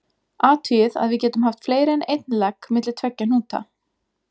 Athugið að við getum haft fleiri en einn legg milli tveggja hnúta.